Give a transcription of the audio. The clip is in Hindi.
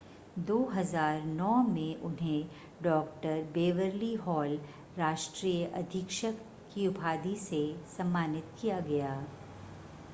2009 में उन्हें डॉ. बेवरली हॉल राष्ट्रीय अधीक्षक की उपाधि से सम्मानित किया गया